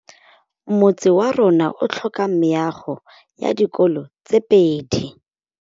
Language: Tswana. Motse warona o tlhoka meago ya dikolô tse pedi.